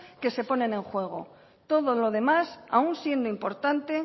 que se ponen en juego todo lo demás aun siendo importante